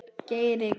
Geir Evert.